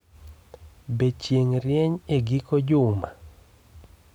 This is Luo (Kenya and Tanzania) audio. Be chieng ' rieny e giko juma?